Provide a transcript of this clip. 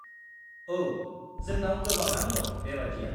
औ, जोंनाव गोबाङानो दं बेबादिया।